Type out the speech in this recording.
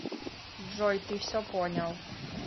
джой ты все понял